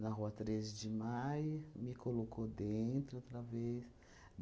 Na rua treze de Maio, me colocou dentro outra vez.